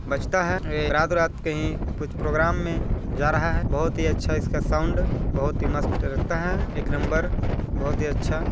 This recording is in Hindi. --बजता है ये रात रात कहीं कुछ प्रोग्राम में जा रहा है बोहोत ही अच्छा इसका साउंड बोहोत ही मस्त लगता है एक नंबर बोहोत ही अच्छा--